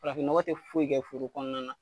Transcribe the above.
Farafin nɔgɔ tɛ foyi kɛ foro kɔɔna na.